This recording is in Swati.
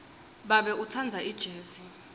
babe utsandza ijezi